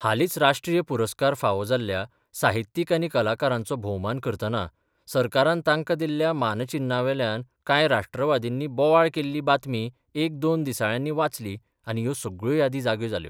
हालीच राष्ट्रीय पुरस्कार फावो जाल्ल्या साहित्यीक आनी कलाकारांचो भोवमान करतना सरकारान तांका दिल्ल्या मानचिन्नावेल्यान कांय 'राष्ट्रवादींनी 'बोवाळ केल्ली बातमी एक दोन दिसाळ्यांनी वाचली आनी ह्यो सगळ्यो यादी जाग्यो जाल्यो...